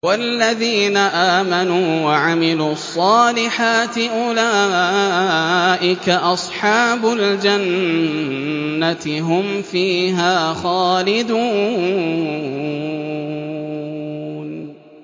وَالَّذِينَ آمَنُوا وَعَمِلُوا الصَّالِحَاتِ أُولَٰئِكَ أَصْحَابُ الْجَنَّةِ ۖ هُمْ فِيهَا خَالِدُونَ